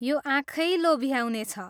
यो आँखै लोभ्याउने छ।